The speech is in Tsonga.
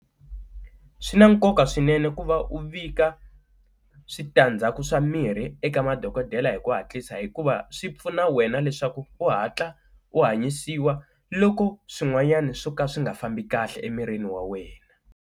Swi na nkoka swinene ku va u vika switandzhaku swa mirhi eka madokodela hi ku hatlisa hikuva swi pfuna wena leswaku u hatla u hanyisiwa loko swin'wanyani swo ka swi nga fambi kahle emirini wa wena.